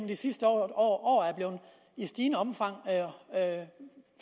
de sidste år i stigende omfang